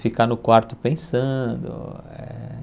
Ficar no quarto pensando. Eh